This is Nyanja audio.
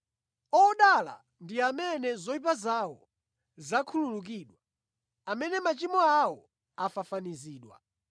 “Odala ndi amene zoyipa zawo zakhululukidwa; amene machimo awo afafanizidwa.